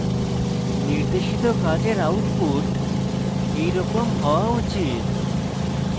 নির্দেশিত কাজের output এরকম হওয়া উচিত